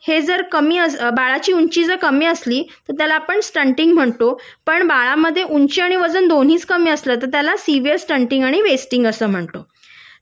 हे जर कमी बाळाची ऊंची जर कमी असली तर त्याला आपण न स्टंटिंग म्हणतो पण बाळात ऊंची आणि वजन दोन्ही कमी असली तर त्याला सिव्हीयर स्टंटिंग आणि वेस्टिंग अस म्हणतो